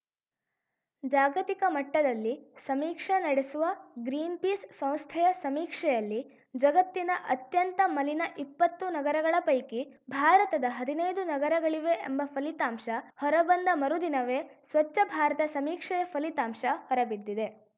ಜಾಗತಿಕ ಮಟ್ಟದಲ್ಲಿ ಸಮೀಕ್ಷೆ ನಡೆಸುವ ಗ್ರೀನ್‌ಪೀಸ್‌ ಸಂಸ್ಥೆಯ ಸಮೀಕ್ಷೆಯಲ್ಲಿ ಜಗತ್ತಿನ ಅತ್ಯಂತ ಮಲಿನ ಇಪ್ಪತ್ತು ನಗರಗಳ ಪೈಕಿ ಭಾರತದ ಹದಿನೈದು ನಗರಗಳಿವೆ ಎಂಬ ಫಲಿತಾಂಶ ಹೊರಬಂದ ಮರುದಿನವೇ ಸ್ವಚ್ಛ ಭಾರತ ಸಮೀಕ್ಷೆಯ ಫಲಿತಾಂಶ ಹೊರಬಿದ್ದಿದೆ